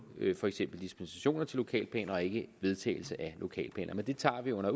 dispensationer til lokalplaner og ikke vedtagelse af lokalplaner men det tager vi under